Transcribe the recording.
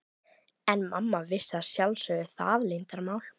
En mamma vissi að sjálfsögðu það leyndarmál.